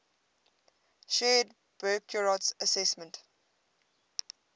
shared burckhardt's assessment